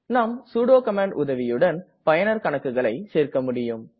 நாம் sudo command உதவியுடன் பயனர் கணக்குகளை சேர்க்க முடியும்